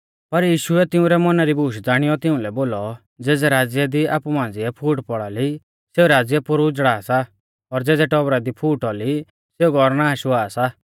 पर यीशुऐ तिंउरै मौना री बूश ज़ाणीयौ तिउंलै बोलौ ज़ेज़ै राज़्य दी आपु मांझ़िऐ फूट पौड़ा ली सेऊ राज़्य पोरु उझ़ड़ा सा और ज़ेज़ै टौबरा दी फूट औली सेऊ घौर नाश हुआ सा